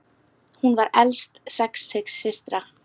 Hún var elst sex systra.